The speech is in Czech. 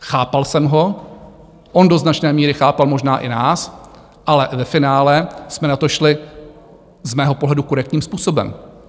Chápal jsem ho, on do značné míry chápal možná i nás, ale ve finále jsme na to šli z mého pohledu korektním způsobem.